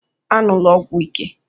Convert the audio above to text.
"Aṅụla ọgwụ ike"